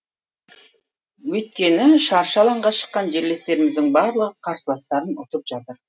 өйткені шаршы алаңға шыққан жерлестеріміздің барлығы қарсыластарын ұтып жатыр